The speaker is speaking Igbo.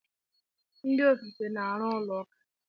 Ndị ofufe na-arụ ụlọ ụka.